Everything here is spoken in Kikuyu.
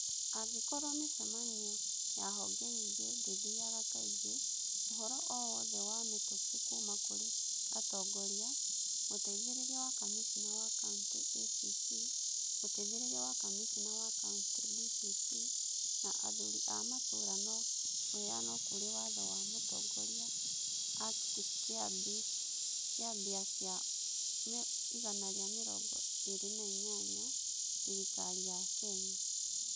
Angĩkorũo mĩcemanio ya honge nyingĩ ndĩthiaga kaingĩ, ũhoro o wothe wa mĩtũkĩ kuuma kũrĩ atongoria, Mũteithĩrĩria wa Kamishna wa Kaunti (ACC), Mũteithĩrĩria wa Kamishna wa Kaunti (DCC) na athuri a matũũra no ũheanwo kũrĩ Watho wa Mũtongoria Act - Kĩambi kĩa 128; Thirikari ya Kenya.